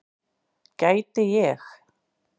Gæti ég.